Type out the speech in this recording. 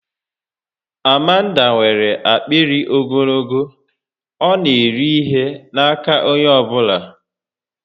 Amanda nwèrè akpịrị ogologo, ọ na eri ihe n'aka onye ọbụla